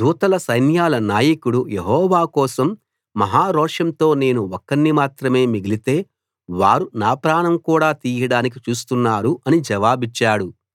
దూతల సైన్యాల నాయకుడు యెహోవా కోసం మహా రోషంతో నేను ఒకణ్ణి మాత్రమే మిగిలితే వారు నా ప్రాణం కూడా తీయడానికి చూస్తున్నారు అని జవాబిచ్చాడు